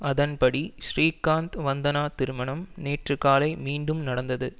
அதன்படி ஸ்ரீகாந்த் வந்தனா திருமணம் நேற்று காலை மீண்டும் நடந்தது